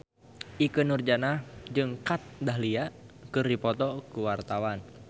Ikke Nurjanah jeung Kat Dahlia keur dipoto ku wartawan